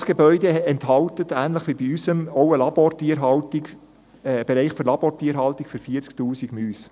Dieses Gebäude enthält – ähnlich wie bei unserem Gebäude – auch einen Bereich für Labortierhaltung für 40 000 Mäuse.